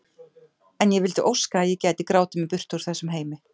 En ég vildi óska að ég gæti grátið mig burt úr þessum heimi.